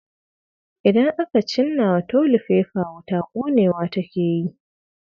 idan aka cinna wa tolifefa wuta konewa take yi.